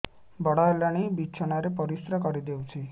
ବଡ଼ ହେଲାଣି ବିଛଣା ରେ ପରିସ୍ରା କରିଦେଉଛି